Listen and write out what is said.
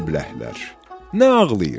Ay əbləhlər, nə ağlayırsız?